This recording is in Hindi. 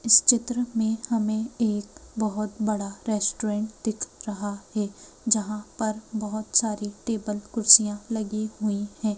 इस चित्र में हमें एक बहुत बड़ा रेस्टोरेंट दिख रहा है यहां पर बहुत सारी टेबल कुर्सियां लगी हुई हैं।